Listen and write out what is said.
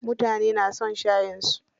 Mutane na son shayin su.